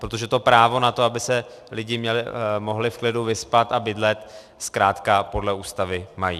Protože to právo na to, aby se lidi mohli v klidu vyspat a bydlet, zkrátka podle Ústavy mají.